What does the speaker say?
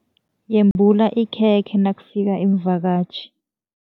Yembula ikhekhe nakufika iimvakatjhi.